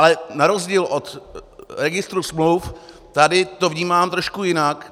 Ale na rozdíl od registru smluv tady to vnímám trošku jinak.